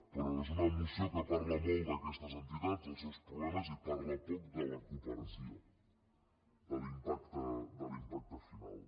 però és una moció que parla molt d’aquestes entitats dels seus problemes i parla poc de la cooperació de l’impacte final